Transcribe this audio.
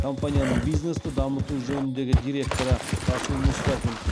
компанияның бизнесті дамыту жөніндегі директоры расул мұстафин